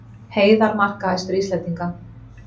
Heiðar markahæstur Íslendinga